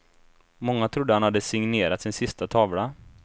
Många trodde att han hade signerat sin sista tavla.